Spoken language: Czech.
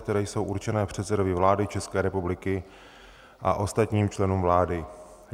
které jsou určené předsedovi vlády České republiky a ostatním členům vlády.